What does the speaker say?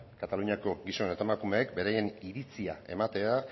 kataluniako gizon eta emakumeek beraien iritzi ematea